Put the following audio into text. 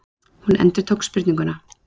Hún endurtók spurninguna.